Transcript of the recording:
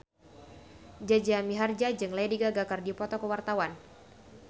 Jaja Mihardja jeung Lady Gaga keur dipoto ku wartawan